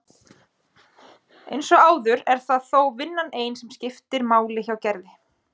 Eins og áður er það þó vinnan ein sem máli skiptir hjá Gerði.